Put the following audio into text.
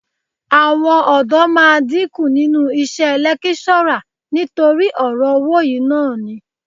Àwọn ọ̀dọ́ máa dínkù nínú iṣẹ́ lẹ́kíṣọ́rà nítorí ọ̀rọ̀ owó yìí náà ni